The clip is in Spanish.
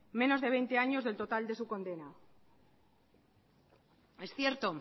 menos de veinte años del total de su condena es cierto